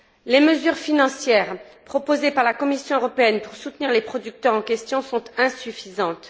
Les mesures financières proposées par la Commission européenne pour soutenir les producteurs en question sont insuffisantes.